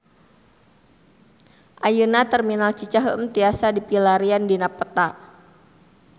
Ayeuna Terminal Cicaheum tiasa dipilarian dina peta